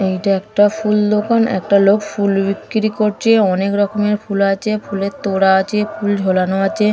এইটা একটা ফুল দোকান একটা লোক ফুল বিক্রি করছে অনেক রকমের ফুল আছে ফুলের তোড়া আছে ফুল ঝোলানো আছে।